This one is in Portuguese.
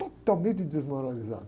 Totalmente desmoralizado.